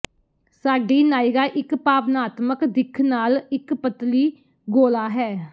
ਸਾਡੀ ਨਾਇਰਾ ਇੱਕ ਭਾਵਨਾਤਮਕ ਦਿੱਖ ਨਾਲ ਇੱਕ ਪਤਲੀ ਗੋਲ਼ਾ ਹੈ